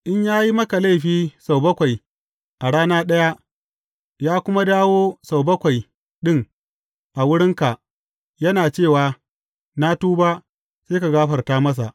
In ya yi maka laifi sau bakwai a rana ɗaya, ya kuma dawo sau bakwai ɗin a wurinka, yana cewa, Na tuba,’ sai ka gafarta masa.